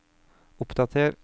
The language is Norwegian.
oppdater